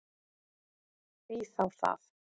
Því þá það?